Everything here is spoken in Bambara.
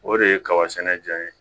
O de ye kaba sɛnɛ jɔn ye